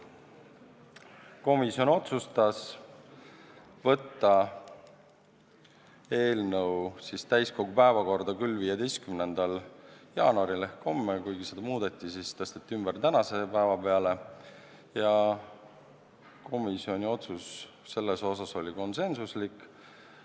Komisjon otsustas küll saata eelnõu täiskogu päevakorda 15. jaanuariks ehk homseks, kuid seda muudeti, eelnõu tõsteti ümber tänase päeva peale ja komisjoni otsus oli konsensuslik.